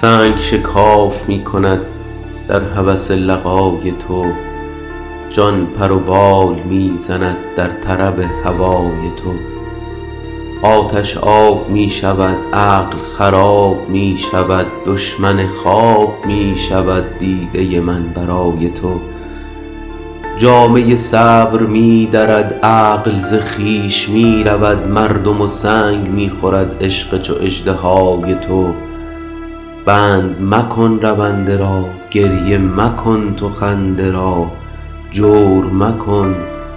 سنگ شکاف می کند در هوس لقای تو جان پر و بال می زند در طرب هوای تو آتش آب می شود عقل خراب می شود دشمن خواب می شود دیده من برای تو جامه صبر می درد عقل ز خویش می رود مردم و سنگ می خورد عشق چو اژدهای تو بند مکن رونده را گریه مکن تو خنده را جور مکن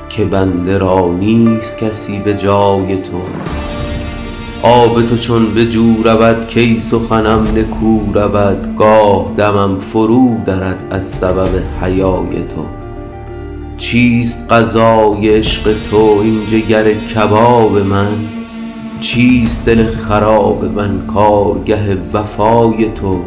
که بنده را نیست کسی به جای تو آب تو چون به جو رود کی سخنم نکو رود گاه دمم فرودرد از سبب حیای تو چیست غذای عشق تو این جگر کباب من چیست دل خراب من کارگه وفای تو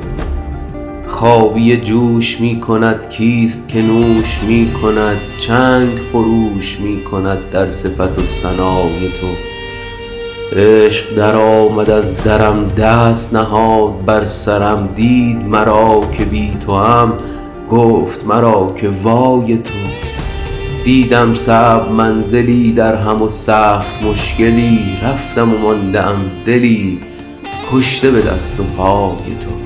خابیه جوش می کند کیست که نوش می کند چنگ خروش می کند در صفت و ثنای تو عشق درآمد از درم دست نهاد بر سرم دید مرا که بی توام گفت مرا که وای تو دیدم صعب منزلی درهم و سخت مشکلی رفتم و مانده ام دلی کشته به دست و پای تو